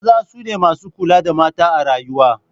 Maza su ne masu kula da mata a rayuwa.